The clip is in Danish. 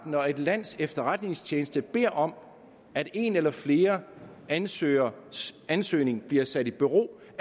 når et lands efterretningstjeneste beder om at en eller flere ansøgeres ansøgning bliver sat i bero så